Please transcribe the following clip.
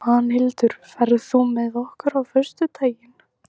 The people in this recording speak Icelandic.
Svanhildur, ferð þú með okkur á föstudaginn?